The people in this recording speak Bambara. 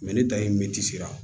ni dayirimɛ ti sera